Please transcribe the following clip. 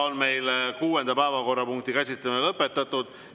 Meie kuuenda päevakorrapunkti käsitlemine on lõpetatud.